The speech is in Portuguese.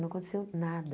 Não aconteceu nada.